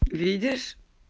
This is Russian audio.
видишь